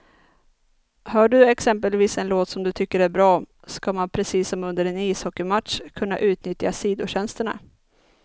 Hör du exempelvis en låt som du tycker är bra, ska man precis som under en ishockeymatch kunna utnyttja sidotjänsterna.